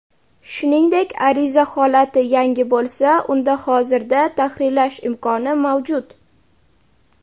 Shuningdek ariza holati "yangi" bo‘lsa unda hozirda tahrirlash imkoni mavjud.